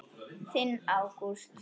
Þinn Ágúst.